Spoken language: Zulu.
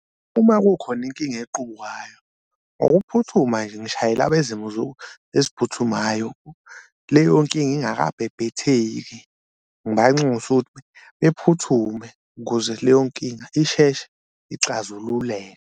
Uma kukhona inkinga equbukayo ngokuphuthuma nje ngishayela abezimo eziphuthumayo leyo nkinga ingakabhebhetheki, ngibanxuse ukuthi bephuthume ukuze leyo nkinga isheshe ixazululeke.